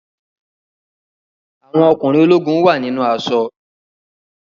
Àwọn ọkùnrin ológun wà nínú aṣọ.